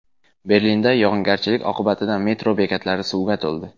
Berlinda yog‘ingarchilik oqibatida metro bekatlari suvga to‘ldi .